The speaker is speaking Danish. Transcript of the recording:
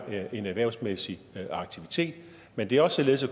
en erhvervsmæssig aktivitet men det er også således